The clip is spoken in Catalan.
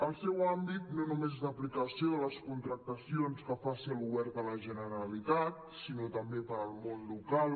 el seu àmbit no només és d’aplicació de les contractacions que faci el govern de la generalitat sinó també per al món local